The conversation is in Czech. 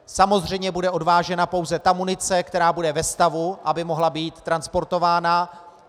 Samozřejmě bude odvážena pouze ta munice, která bude ve stavu, aby mohla být transportována.